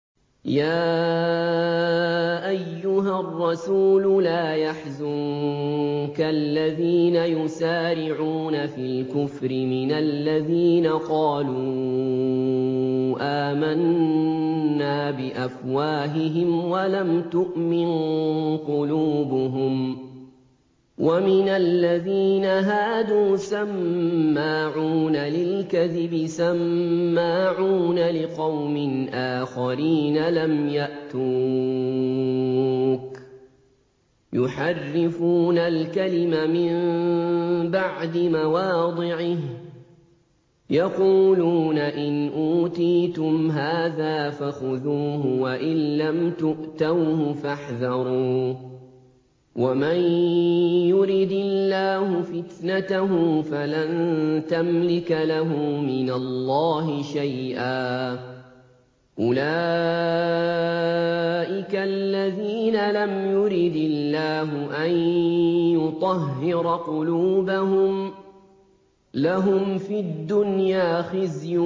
۞ يَا أَيُّهَا الرَّسُولُ لَا يَحْزُنكَ الَّذِينَ يُسَارِعُونَ فِي الْكُفْرِ مِنَ الَّذِينَ قَالُوا آمَنَّا بِأَفْوَاهِهِمْ وَلَمْ تُؤْمِن قُلُوبُهُمْ ۛ وَمِنَ الَّذِينَ هَادُوا ۛ سَمَّاعُونَ لِلْكَذِبِ سَمَّاعُونَ لِقَوْمٍ آخَرِينَ لَمْ يَأْتُوكَ ۖ يُحَرِّفُونَ الْكَلِمَ مِن بَعْدِ مَوَاضِعِهِ ۖ يَقُولُونَ إِنْ أُوتِيتُمْ هَٰذَا فَخُذُوهُ وَإِن لَّمْ تُؤْتَوْهُ فَاحْذَرُوا ۚ وَمَن يُرِدِ اللَّهُ فِتْنَتَهُ فَلَن تَمْلِكَ لَهُ مِنَ اللَّهِ شَيْئًا ۚ أُولَٰئِكَ الَّذِينَ لَمْ يُرِدِ اللَّهُ أَن يُطَهِّرَ قُلُوبَهُمْ ۚ لَهُمْ فِي الدُّنْيَا خِزْيٌ ۖ